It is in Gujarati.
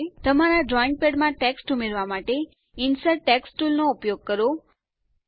તમારા ડ્રોઈંગ પેડમાં ટેક્સ્ટ ઉમેરવા માટે ઇન્સર્ટ ટેક્સ્ટ ટુલ નો ઉપયોગ કરો